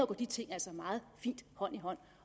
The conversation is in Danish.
går de ting altså meget fint hånd i hånd